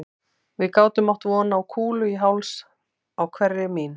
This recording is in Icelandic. Við gátum átt von á kúlu í háls á hverri mín